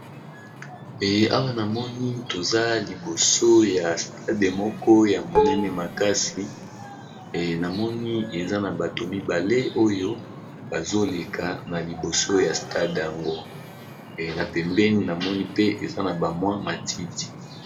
ey awa na moni toza liboso ya stade moko ya monene makasi na moni eza na bato mibale oyo bazoleka na liboso ya stade yango na pembeni na moni mpe eza na bamwa matiti